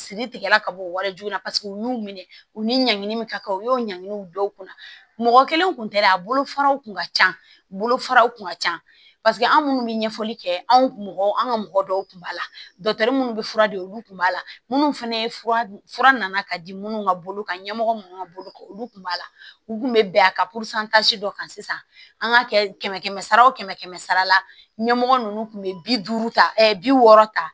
Siri tigɛla ka bɔ wajibi na paseke u y'u minɛ u ni ɲangini min ka kan u y'o ɲangini dɔw kunna mɔgɔ kelen kun tɛ dɛ a bolofaraw kun ka ca bolofaraw kun ka ca paseke an minnu bɛ ɲɛfɔli kɛ anw mɔgɔ an ka mɔgɔ dɔw tun b'a la minnu bɛ fura di olu tun b'a la minnu fana ye fura fura nana ka di minnu ma bolo kan ɲɛmɔgɔ minnu ka bolo kan olu tun b'a la u tun bɛ bɛn a ka dɔ kan sisan an ka kɛ kɛmɛ kɛmɛ sara wo kɛmɛ kɛmɛ sara la ɲɛmɔgɔ ninnu tun bɛ bi duuru ta bi wɔɔrɔ ta